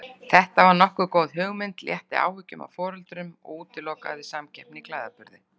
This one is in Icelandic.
Þetta var nokkuð góð hugmynd, létti áhyggjum af foreldrum og útilokaði samkeppni í klæðaburði.